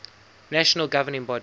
national governing body